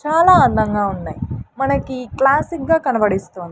చాలా అందంగా ఉన్నాయ్ మనకి క్ల్యాసిక్ గా కనబడిస్తున్--